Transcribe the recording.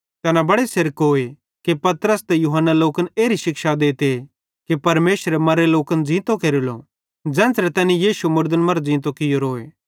तैना बड़े सेरकोए कि पतरस ते यूहन्ना लोकन एरी शिक्षा देते कि परमेशरे मर्रे लोकन ज़ींतो केरेलो ज़ेन्च़रे तैनी यीशु मुड़दन मरां ज़ींतो कियोरोए